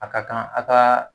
A ka kan a kaa